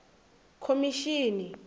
khomishini